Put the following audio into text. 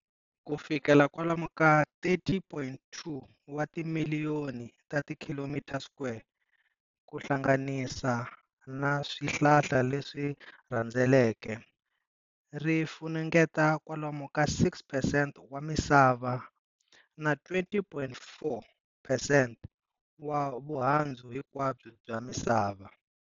Ku fikela kwalomu ka 30.2 wa timiliyoni ta km square kuhlanganisa na swihlala leswi rhendzeleke, ri funengeta kwalomu ka 6 percent wa misava na 20.4 percent wa vundhzawu hinkwabyo bya misava.